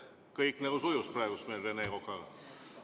Kõik seni nagu sujus meil Rene Kokaga.